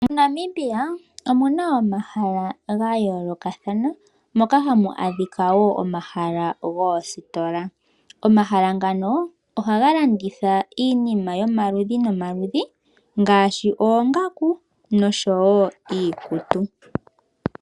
MoNamibia omuna omahala ga yoolokathana moka hamu adhika wo omahala goositola. Omahala ngano ohaga landitha iinima yomaludhi nomaludhi ngaashi oongaku noshowo iikutu.